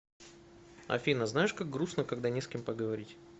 афина знаешь как грустно когда не с кем поговорить